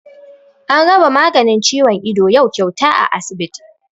An raba maganin ciwon ido yau kyauta a asibiti